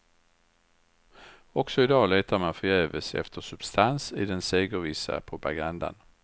Också i dag letar man förgäves efter substans i den segervissa propagandan.